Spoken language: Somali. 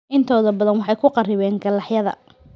Intooda badan waxay ku kharribeen galaxyada.